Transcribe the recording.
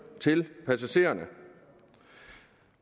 til passagererne